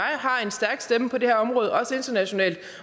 har en stærk stemme på det her område og også internationalt